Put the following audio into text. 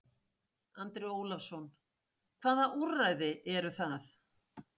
Andri Ólafsson: Hvaða úrræði eru það?